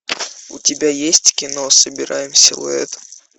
у тебя есть кино собираем силуэт